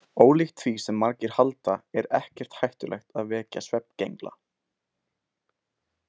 Ólíkt því sem margir halda er ekkert hættulegt að vekja svefngengla.